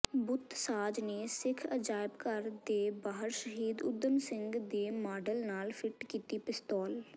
ਬੁੱਤਸਾਜ ਨੇ ਸਿੱਖ ਅਜਾਇਬਘਰ ਦੇ ਬਾਹਰ ਸ਼ਹੀਦ ਊਧਮ ਸਿੰਘ ਦੇ ਮਾਡਲ ਨਾਲ ਫਿੱਟ ਕੀਤੀ ਪਿਸਤੌਲ